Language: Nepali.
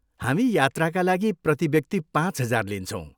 हामी यात्राका लागि प्रति व्यक्ति पाँच हजार लिन्छौँ।